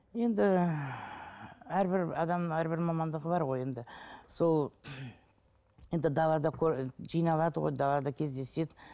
енді әрбір адамның әрбір мамандығы бар ғой енді сол енді далада жиналады ғой далада кездеседі